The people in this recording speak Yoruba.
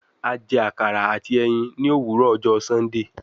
A jẹ akara ati ẹyin ni owurọ ọjọ Sundee